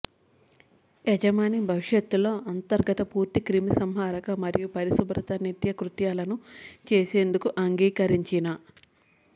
యజమాని భవిష్యత్తులో అంతర్గత పూర్తి క్రిమిసంహారక మరియు పరిశుభ్రత నిత్యకృత్యాలను చేసేందుకు అంగీకరించిన